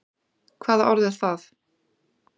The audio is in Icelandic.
Hvaða orð er það?